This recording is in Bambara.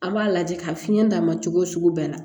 An b'a lajɛ ka fiɲɛ d'a ma cogo wo sugu bɛɛ la